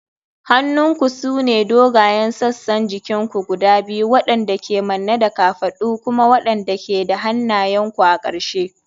Hannunku sune dogayen sassan jikin ku guda biyu waɗanda ke manne da kafadu kuma waɗanda ke da hannayenku a ƙarshe.